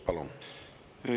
Palun!